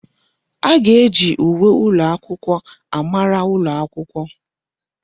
A ga-eji uwe ụlọakwụkwọ amara ụlọ akwụkwọ.